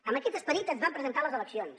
amb aquest esperit ens vam presentar a les eleccions